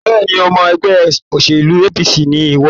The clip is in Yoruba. Bẹ́ẹ̀ni, ọmọ ẹgbẹ́ òṣèlú APC ni ìwọ